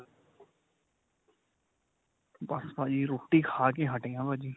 ਬੱਸ ਭਾਜੀ ਰੋਟੀ ਖਾ ਕੇ ਹਟੇ ਆਂ ਭਾਜੀ.